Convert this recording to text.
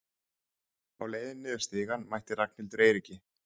Á leiðinni niður stigann mætti Ragnhildur Eiríki.